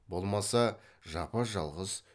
болмаса жапа жалғыз